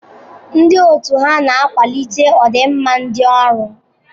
Ndị otu ha na-akwalite ọdị nma ndi ọrụ?